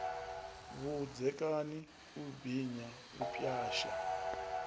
vhudzekani u binya u pwasha